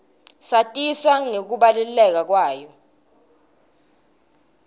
satiswa nangekubaluleka kwayo